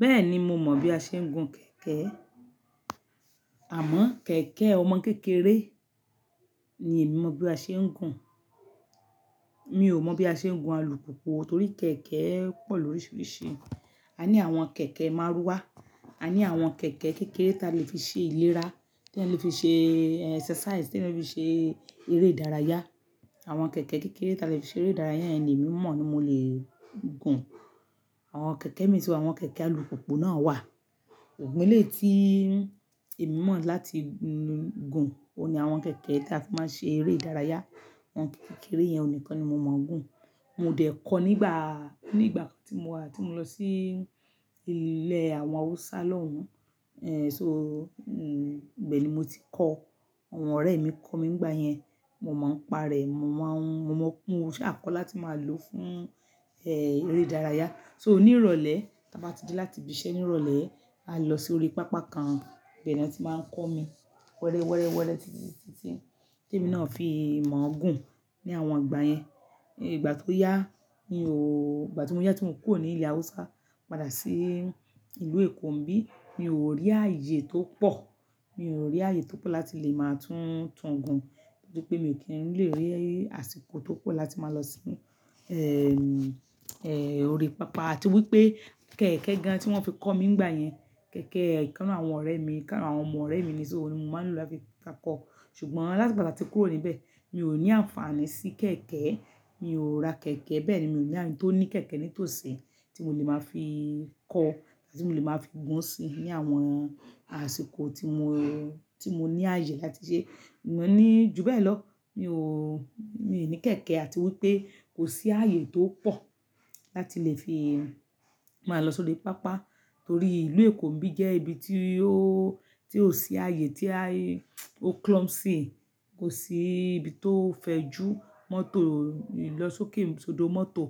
Bẹ́ẹ̀ni, mo mọ̀ bí a ṣe ń gun kẹ̀kẹ́. Àmọ́ kẹ̀kẹ́ ọmọ kékeré ni èmi mọ̀ bí a ṣe ń gun. Mi ò mọ̀ bí a ṣe ń gun alùpùpù torí kẹ̀kẹ́ pọ̀ lóríṣiríṣi. A ní àwọn kẹ̀kẹ́ márúwá, a ní àwọn kẹ̀kẹ́ kékeré tí a lè fi ṣe ìlera, tí a lè fi ṣe exercise, tí a lè fi ṣe eré ìdárayá. Àwọn kẹ̀kẹ́ kékeré tí a lè fi ṣe eré ìdárayá, yẹn ni emi mọ̀ ni mo lè gun. Àwọn kẹ̀kẹ́ mi tún wà àwọn kẹ̀kẹ́ alùpùpù náà wà. Òun ni eléyì tó èmi mọ̀ láti gun, òun ni àwọn kẹ̀kẹ́ tí a fi máa ń ṣe eré ìdárayá. Àwọn kẹ̀kẹ́ kékeré yẹn òun nìkan ni mo mọ̀ gun. Mo dẹ̀ kọ́ nígbà, ní ìgbà kan tí mo wá, tí mo lọ sí ilẹ̀ àwọn Hausa lọ́hùn. Ẹ̀hn só, ibe ni mo ti kọ́. Àwọn ọ̀rẹ́ mi kọ mí nígbà yẹn. Mo máa ń parẹ́, mo máa ń, mo mọ̀ pé mo ṣàkọ láti máa lò fún, eré ìdárayá. So ni ìrọ̀lẹ́, tí a bá ti dé láti ibi iṣẹ́ ní ìrọ̀lẹ́, à lọ sí orí pápá kan. Ibẹ̀ ni wọ́n ti máa ń kọ́ mi wẹ́rẹ́, wẹ́rẹ́, wẹ́rẹ́ títí, títí tí èmi náà fi mọ̀ gun ní àwọn ìgbà yẹn. Ìgbà tó yá, mi ò, ìgbà tí mo yá tí mo kúrò ní ilẹ̀ Hausa padà sí ìlú Èkó nìbí, mi ò rí ààyè tó pọ̀. Mi ò rí ààyè tó pọ̀ láti lè máa tún tun gun. Nítorí pé mi kì í lè rí àsìkò tó pọ̀ láti máa lọ sínú, orí pápá. À ti wí pé kẹ̀kẹ́ gan tí wọ́n fi kọ́ mi nígbà yẹn, kẹ̀kẹ́ ìkan nínú àwọn ọ̀rẹ́ mi, ìkan nínú àwọn ọmọ ọ̀rẹ́ mi nísó òun ni mo máa ń lò láti máa kọ́. Ṣùgbọ́n láti ìgbà táti kúrò níbẹ̀, mi ò ní àǹfààní sí kẹ̀kẹ́. Mi ò ra kẹ̀kẹ́, bẹ́ẹ̀ ni mi ò ní ẹni tó ní kẹ̀kẹ́ nítòsí tí mo lè máa fi kọ́ àti tí mo lè máa fi gún sí ní àwọn àsìkò tí mo, tí mo ní ààyè láti ṣe. Mo ní, ju bẹ́ẹ̀ lọ, mi ò, mi ò ní kẹ̀kẹ́ àti wí pé kò sí ààyè tó pọ̀ láti lè fi máa lọ sórí pápá. Torí ìlú Èkó nìbí jẹ́ ibi tí ó, tí ò sí ààyè tí a, ó clumsy, kò sí ibi tó fẹjú mọ́tò lọ sókè, sòódo mọ́tò.